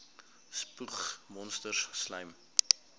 spoeg monsters slym